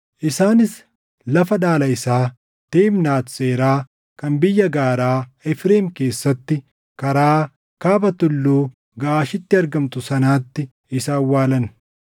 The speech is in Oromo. Isaanis lafa dhaala isaa, Timnaat Seeraa kan biyya gaaraa Efreem keessatti karaa kaaba Tulluu Gaʼaashitti argamtu sanatti isa awwaalan.